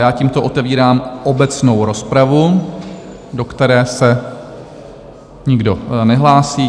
Já tímto otevírám obecnou rozpravu, do které se nikdo nehlásí.